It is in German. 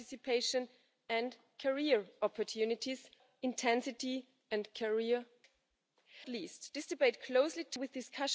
müssen. Die Zukunft der Jugend und unserer Sozialsysteme steht auf dem Spiel und ist bestens vorbereitet.